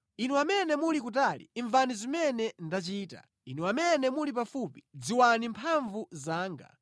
Inu amene muli kutali, imvani zimene ndachita; inu amene muli pafupi, dziwani mphamvu zanga